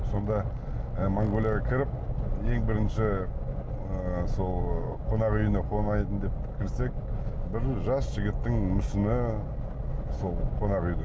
сонда ы монғолияға кіріп ең бірінші ы сол қонақ үйіне қонайын деп кірсек бір жас жігіттің мүсіні сол қонақ үйде